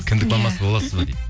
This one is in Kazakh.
кіндік мамасы боласыз ба дейді